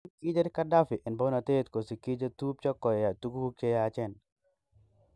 kin kicher Gaddafi en pounotet kosiki chetuptcho koya tuguk che yachen.